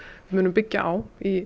munum byggja á í